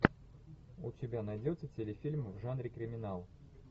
у тебя найдется телефильм в жанре криминал